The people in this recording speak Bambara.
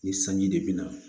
Ni sanji de bina